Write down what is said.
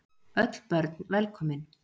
Öll börn velkomin.